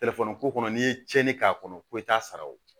ko kɔnɔ n'i ye tiɲɛni k'a kɔnɔ ko i t'a sara o la